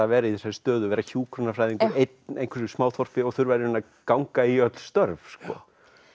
vera í þessari stöðu að vera hjúkrunarfræðingur einn í einhverju smáþorpi og þurfa í rauninni að ganga í öll störf sko